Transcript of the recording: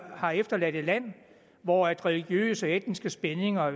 har efterladt et land hvor religiøse og etniske spændinger